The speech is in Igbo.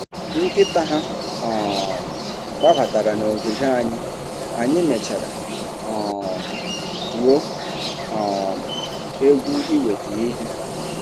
Nkịta ha um gbabatara n'ogige anyị, anyị mechara um gwuo um egwu iweta ihe.